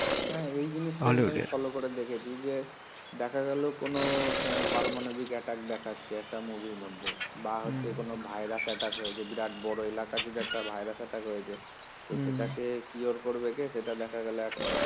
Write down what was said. হ্যাঁ এই জিনিস ফলো করে দেখেছি যে দেখা গেল কোন পারমানবিক অ্যাটাক দেখাচ্ছে একটা মুভির মধ্যে বা হচ্ছে কোন ভাইরাস অ্যাটাক হয়েছে বিরাট বড় এলাকা জুড়ে একটা ভাইরাস অ্যাটাক হয়েছে তো সেটাকে cure করবে কে সেটা দেখা গেল একমাত্র